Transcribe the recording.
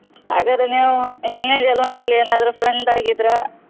ಹಾಗಾದ್ರೆ ನೀವ್ ಹಿಂದಿನ ಜನ್ಮದಲ್ಲಿ ಏನಾದ್ರು friend ಆಗಿದ್ರ.